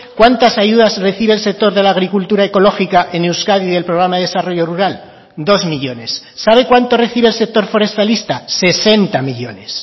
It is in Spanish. cuántas ayudas recibe el sector de la agricultura ecológica en euskadi del programa de desarrollo rural dos millónes sabe cuánto recibe el sector forestalista sesenta millónes